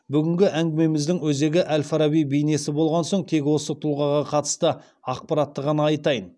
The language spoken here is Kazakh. бүгінгі әңгімеміздің өзегі әл фараби бейнесі болған соң тек осы тұлғаға қатысты ақпаратты ғана айтайын